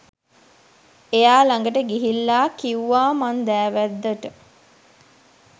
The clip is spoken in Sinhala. එයා ළඟට ගිහිල්ලා කිව්වා මං දෑවැද්දට